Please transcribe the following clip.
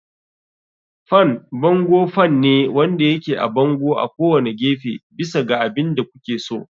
Fan bango fan ne wanda yake a bango a kowane gefe, bisa ga abin da kuke so.